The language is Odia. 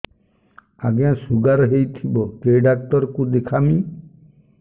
ଆଜ୍ଞା ଶୁଗାର ହେଇଥିବ କେ ଡାକ୍ତର କୁ ଦେଖାମି